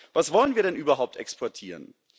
Was wollen wir denn überhaupt exportieren?